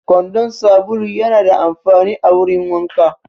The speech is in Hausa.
Kwandon sabulu yana da amfani a wurin wanka